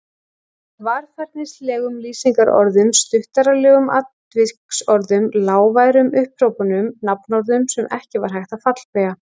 Varfærnislegum lýsingarorðum, stuttaralegum atviksorðum, lágværum upphrópunum, nafnorðum sem ekki var hægt að fallbeygja.